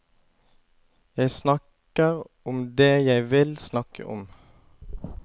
Jeg snakker om det jeg vil snakke om.